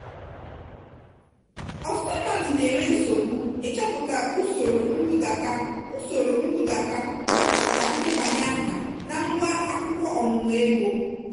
ọtụtụ mmadụ na-enwe nsogbu ịchọpụta usoro nbudata usoro nbudata nakwa ndebanye aha na ngwa akwụkwọ ọmụmụ ego.